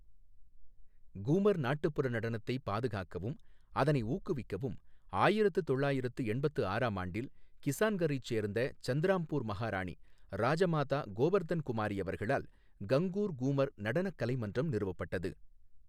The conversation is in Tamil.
கூமர் நாட்டுப்புற நடனத்தை பாதுகாக்கவும் அதனை ஊக்குவிக்கவும் ஆயிரத்து தொள்ளாயிரத்து எண்பத்து ஆறாம் ஆண்டில் கிசான்கரைச் சோ்ந்த சந்திராம்பூா் மஹாராணி ராஜமாதா கோவர்தன் குமாரி அவர்களால் கங்கூர் கூமர் நடனக் கலைமன்றம் நிறுவப்பட்டது.